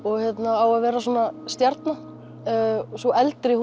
á að vera stjarna sú eldri